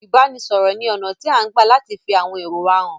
Ìbáranisọ̀rọ̀ ní ọ̀nà tí à ń gbà láti fi àwọn èrò wa hàn.